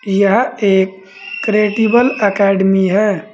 यह एक credible academy है।